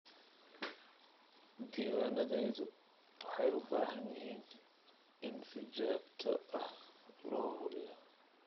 Diiwaanadayadu waxay u baahan yihiin in si joogto ah loo hubiyo.